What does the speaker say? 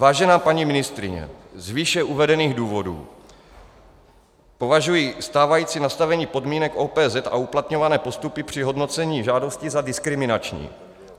Vážená paní ministryně, z výše uvedených důvodů považuji stávající nastavení podmínek OPZ a uplatňované postupy při hodnocení žádostí za diskriminační.